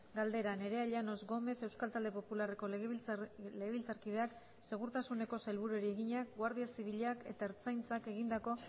galdera nerea llanos gómez euskal talde popularreko legebiltzarkideak segurtasuneko sailburuari egina guardia zibilak eta ertzaintzak egindako